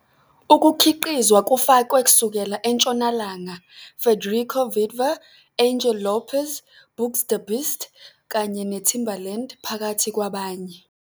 Ukukhiqizwa kufakwe kusukela eNtshonalanga, Federico Vindver, Angel Lopez, BoogzDaBeast, kanye neTimbaland, phakathi kwabanye.